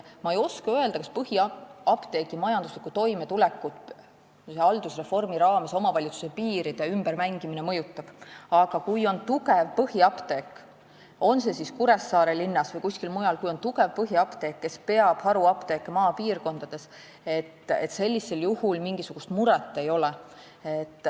Ma ei oska öelda, kas haldusreformi raames omavalitsuse piiride ümbermängimine mõjutab põhiapteegi majanduslikku toimetulekut, aga kui on tugev põhiapteek, Kuressaare linnas või kuskil mujal, kes peab maapiirkondades haruapteeke, siis sellisel juhul mingisugust muret ei ole.